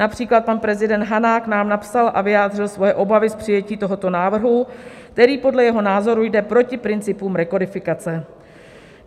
Například pan prezident Hanák nám napsal a vyjádřil své obavy z přijetí tohoto návrhu, který podle jeho názoru jde proti principům rekodifikace.